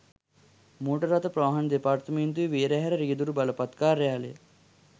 motor රථ ප්‍රවාහන දෙපාර්තමේන්තුවේ වේරහැර රියැදුරු බලපත් කාර්යාලය